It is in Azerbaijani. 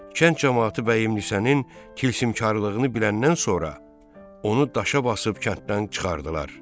Kənd camaatı Vəhimlisənin tilsimkarlığını biləndən sonra, onu daşa basıb kənddən çıxardılar.